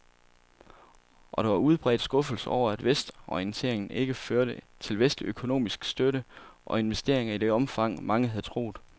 Og der var udbredt skuffelse over, at vestorienteringen ikke førte til vestlig økonomisk støtte og investeringer i det omfang, mange havde troet.